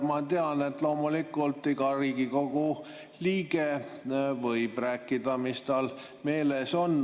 Ma tean, et loomulikult võib iga Riigikogu liige rääkida, mis tal meelel on.